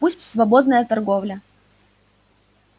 пусть свободная торговля